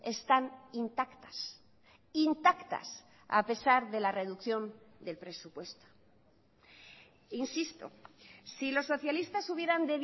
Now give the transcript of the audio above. están intactas intactas a pesar de la reducción del presupuesto insisto si los socialistas hubieran